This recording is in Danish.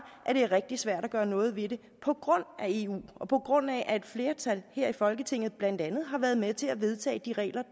at det er rigtig svært at gøre noget ved det på grund af eu og på grund af at et flertal her i folketinget blandt andet har været med til at vedtage de regler